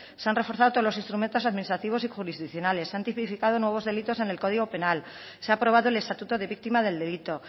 se han reforzado todos los instrumentos administrativos y jurisdiccionales se han tipificado nuevos delitos en el código penal se ha aprobado el estatuto de víctima del delito